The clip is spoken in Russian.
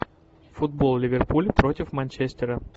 футбол ливерпуль против манчестера